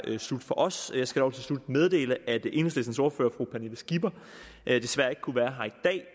slut fra os jeg skal dog til slut meddele at enhedslistens ordfører fru pernille skipper desværre ikke kunne være